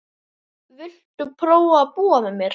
Viltu prófa að búa með mér.